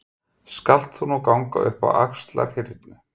Skalt þú nú ganga upp á Axlarhyrnu.